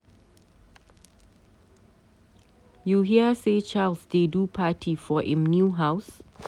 You hear say Charles dey do party for im new house